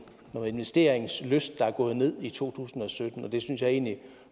noget investeringslyst der er gået ned i to tusind og sytten det synes jeg egentlig